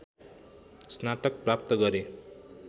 स्नातक प्राप्त गरे